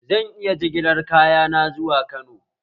Zan iya jigilar kayana zuwa Kano?